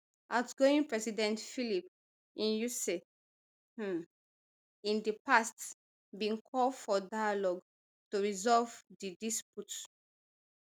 outgoing president filipe nyusi um in di past bin call for dialogue to resolve di dispute